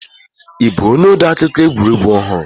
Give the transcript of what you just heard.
Ị bụ onye odeakụkọ egwuregwu ọhụrụ?